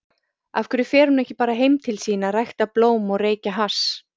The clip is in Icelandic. af hverju fer hún ekki bara heim til sín að rækta blóm og reykja hass?